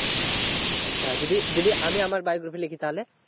আচ্ছা যদি, যদি আমি আমার biography লিখি তাহলে?